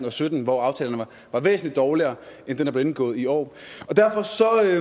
og sytten hvor aftalerne var væsentlig dårligere end den der blev indgået i år